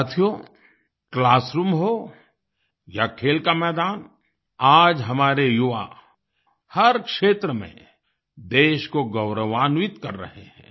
साथियो क्लासरूम हो या खेल का मैदान आज हमारे युवा हर क्षेत्र में देश को गौरवान्वित कर रहे हैं